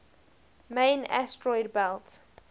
main asteroid belt